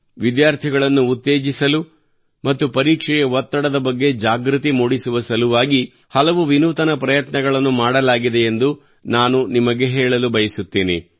ವಿದ್ಯಾರ್ಥಿಗಳನ್ನು ಉತ್ತೇಜಿಸಲು ಮತ್ತು ಪರೀಕ್ಷೆಯ ಒತ್ತಡದ ಬಗ್ಗೆ ಜಾಗೃತಿ ಮೂಡಿಸುವ ಸಲುವಾಗಿ ಹಲವು ವಿನೂತನ ಪ್ರಯತ್ನಗಳನ್ನು ಮಾಡಲಾಗಿದೆಯೆಂದು ನಾನು ನಿಮಗೆ ಹೇಳಲು ಬಯಸುತ್ತೇನೆ